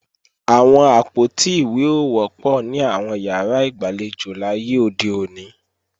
Àwọn àpótí ìwé ò wọ́pọ̀ ní àwọn ìyàrá ìgbàlejò láyé òde òní